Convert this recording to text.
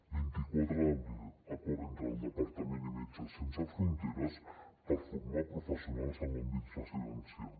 vint quatre d’abril acord entre el departament i metges sense fronteres per formar professionals en l’àmbit residencial